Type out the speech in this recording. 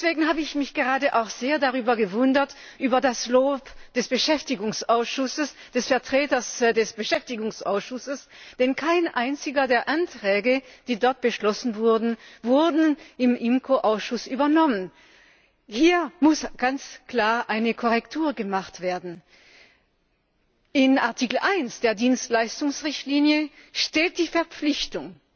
Deswegen habe ich mich auch gerade sehr über das Lob des Beschäftigungsausschusses, des Vertreters des Beschäftigungsausschusses, gewundert, denn kein einziger der Anträge, die dort beschlossen wurden, wurde im IMCO Ausschuss übernommen. Hier muss ganz klar eine Korrektur gemacht werden. In Artikel 1 der Dienstleistungsrichtlinie steht die Verpflichtung